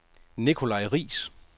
Nikolaj Riis